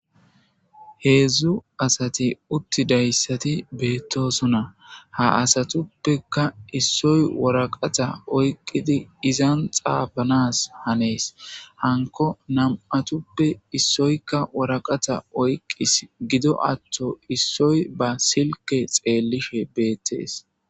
Heedzdzu asati uttidayssati beettosona ha asatuppeka issoy woraqata oyqqidi izan xaafanas hanees hanko nam'atuppe issoyka woraqata oyqqis gido atto issoy ba silke xeellishe beettees.